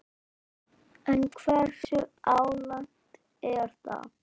En hversu algengt er það?